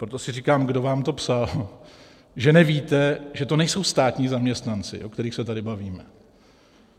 Proto si říkám, kdo vám to psal, že nevíte, že to nejsou státní zaměstnanci, o kterých se tady bavíme.